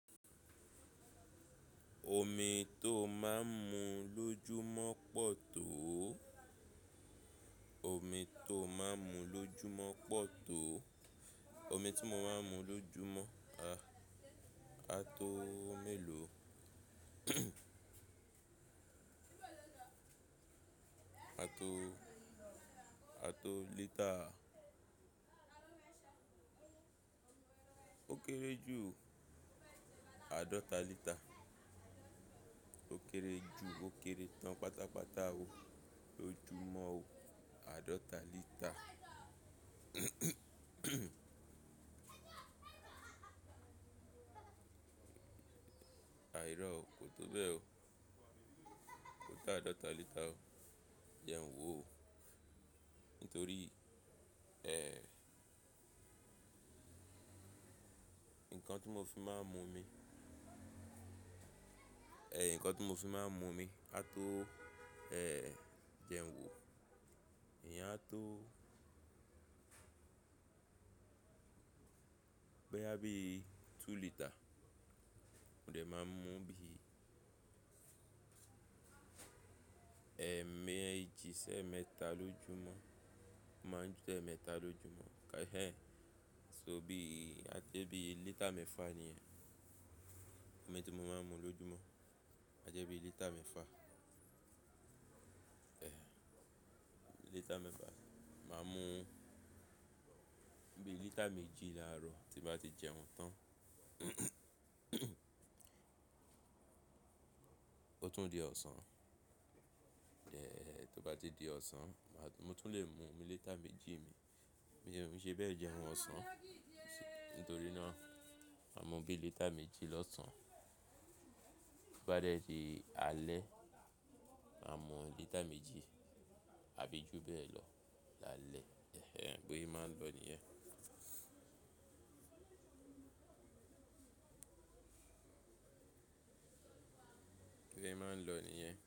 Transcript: Omi tó máa ń mu lójúmọ̀ pọ̀ tó, omi tó máa ń mu lójúmọ̀ pọ̀ tó, omi tí mo máa ń mu lójúmọ̀ á tó mélòó? Á tó, á tó lítà. Ó kéré jù àádọ́ta lítà. Ó kéré jù, ó kéré tán pátápátá ó lójúmọ́ ó àádọ́ta lítà. Àìrọ́, kò tó bẹ́ẹ̀ ó, kò tó àádọ́ta lítà ó jẹ n wò ó. Nítorí, ẹ́, ǹkan tí mo fi máa ń mu omi, ẹ́, ǹkan tí mo fi máa ń mu omi á tó, ẹ́, jẹun wò. Ìyẹn á tó, gbé ya bí i tú lítà. Mo de máa ń mú bí i, ẹ́, méji sẹ́ emeẹ́ta lójúmọ́. Máa ń dún ẹ́ mẹ́ta lójúmọ́. Ẹ̀hẹn, só bí i, a jẹ́ bí i lítà mẹ́fà níyẹn. Omi tí mo máa ń mu lójúmọ́, a jẹ́ bí i lítà mẹ́fà. Ẹ̀hẹn, lítà mẹ́fà. Máa mú bí i lítà méjì láàárọ̀ tí bá ti jẹun tán. Ó tún di ọ̀sán. Ẹ̀hẹ̀, tó bá ti di ọ̀sán, mo tún lè mu omi lítà méjì mi. Nìyẹn òún ṣe bẹ́ẹ̀ jẹun ọ̀sán. Nítorí náà, màá mu bí i lítà méjì lọ́sàn-án. Tó bá dẹ́ ti alẹ́, màá mu lítà méjì àbí ju bẹ́ẹ̀ lọ lálẹ́. Bó ṣe máa n lọ nìyẹn, bo ṣe máa n lọ nìyẹn.